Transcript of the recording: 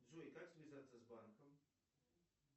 джой как связаться с банком